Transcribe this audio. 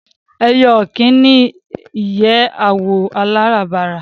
Ẹyẹ ọ̀kín ní ìyẹ́ àwọ̀ aláràǹbarà